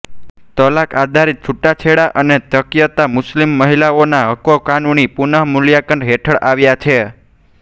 તલાક આધારિત છૂટાછેડા અને ત્યક્તા મુસ્લિમ મહિલાઓના હકો કાનૂની પુનઃમૂલ્યાંકન હેઠળ આવ્યા છે